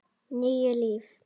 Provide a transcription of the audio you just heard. Níu líf